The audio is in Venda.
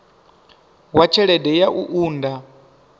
wa tshelede ya u unḓa